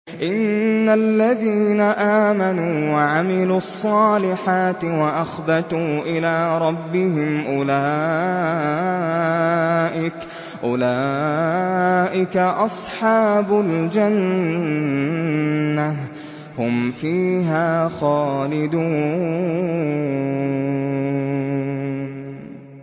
إِنَّ الَّذِينَ آمَنُوا وَعَمِلُوا الصَّالِحَاتِ وَأَخْبَتُوا إِلَىٰ رَبِّهِمْ أُولَٰئِكَ أَصْحَابُ الْجَنَّةِ ۖ هُمْ فِيهَا خَالِدُونَ